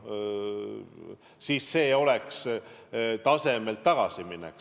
Siis oleks see tagasiminek.